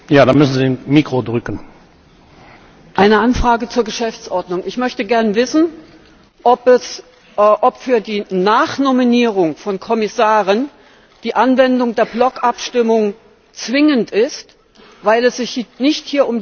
Eine Anfrage zur Geschäftsordnung Ich möchte gerne wissen, ob für die Nachnominierung von Kommissaren die Anwendung der Blockabstimmung zwingend ist, weil es sich hier nicht um die Abstimmung der Kommission insgesamt handelt.